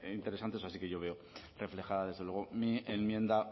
interesantes así que yo veo reflejada desde luego mi enmienda